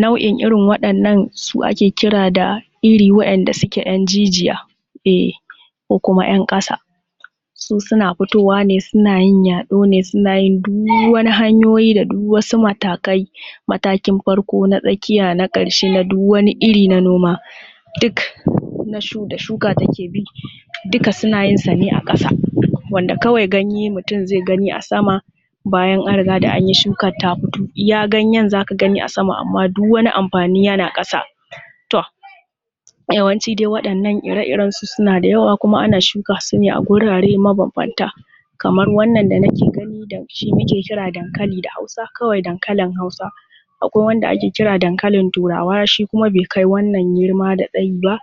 Nau’in irin waɗannan su ake kira da iri waɗanda suke ‘yan jijiya, eh, ko kuma ‘yan ƙasa, su suna fitowa ne, suna yin yaɗo ne, suna yi du wani hanyoyi da du wasu matakai, matakin farko, na tsakiya, na ƙarshe na du wani iri na noma, duk na da shuka take bi, duka suna yin su ne a ƙasa, wanda kawai ganye mutum zai gani a sama, bayan an riga da anyi shukat ta fito. Iya ganyen za ka gani a sam, amma duk wani amfani yana ƙasa. To, yawanci dai waɗannan ire-irensu suna da yawa kuma ana shuka su ne a wurare mabambanta, kamar wannan da nake gani da shi nake kira dankali da Hausa kawai, dankalin Hausa. Akwai wanda ake kira dankalin Turawa shi kuma bai kai wannan girma da tsayi ba,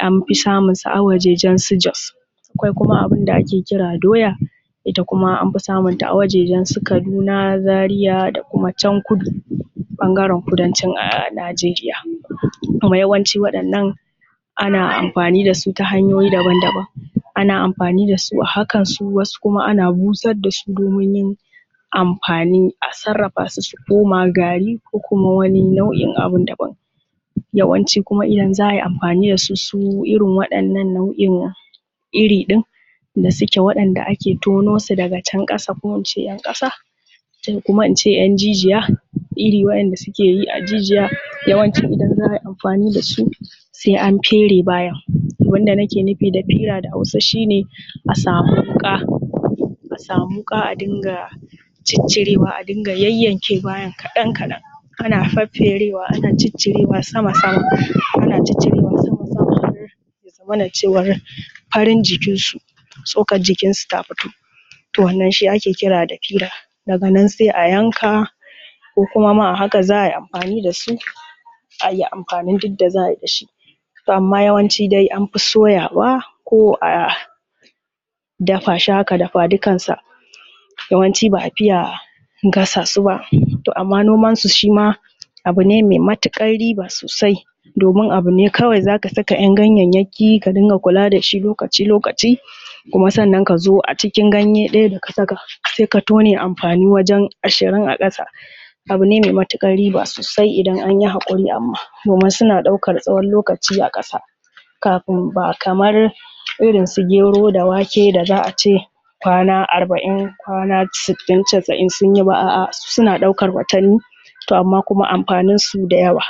anfi samun sa a wajejensu Jos. Akwai kuma abin da ake kira doya, ita kuma anfi samunta a wajejensu Kaduna, Zariya da kuma can kudu, ɓangaren kudancin Najeriya. Kuma yawanci waɗannan ana amfani da su ta hanyoyi daban-daban. Ana amfani da su a hakansu wasu kuma ana busar da su domin yin amfanin, a sarrafasu su koma gari ko kuma wani nau’in abin daban. Yawanci kuma idan za a yi amfani da su irin waɗannan nau’in iri ɗin da suke waɗanda ake tono su daga can ƙasa ko ince ‘yan ƙasa ko kuma ince ‘yan jijiya, iri waɗanda suke yi a jijiya, yawanci idan za a yi amfani da su sai an fere bayan, abin da nake nufi da fire a Hausa shi ne a samu wuƙa, a samu wuƙa a dinga ciccirewa a dinga yayyanke bayan kaɗan-kaɗan ana fefferewa ana ciccirewa sama-sama, zamana cewan farin jikinsu, tsokar jikinsu ta fito, to, wannan shi ake kira da fira. Daga nan sai a yanka, ko kuma ma a haka za a yi amfani da su, a yi amfanin duk da za a yi da su. Amma yawanci anfi soyawa ko a dafa shi haka dafa-dukansa yawanci ba a fiye gasa su ba. To amma nomasu shi ma abu ne mai matuƙar riba sosai, domin abu ne kawai za ka saka ‘yan ganyayyaki ka dinga kula da shi lokaci-lokaci, kuma sannan ka zo acikin ganye ɗaya da ka saka sai ka tone amfani wajan ashirin a ƙasa. Abu ne mai matuƙar riba sosai idan anyi haƙuri amma, domin suna ɗaukar tsawon lokaci a ƙasa kafin, ba kamar irin su gero da wake da za a ce kwana arba’in, kwana sittin casa’in sun yi ba, a’a suna ɗaukar watanni, to amma kuma amfaninsu dayawa.